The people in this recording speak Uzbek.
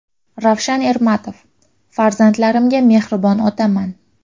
Ravshan Ermatov: Farzandlarimga mehribon otaman.